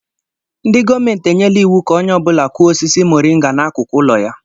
Ndị gọọmenti enyela iwu ka onye ọ bụla Kụọ osisi moringa n'akụkụ ụlọ ya.